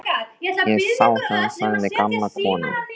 Ég sá það, sagði gamla konan.